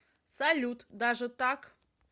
салют даже так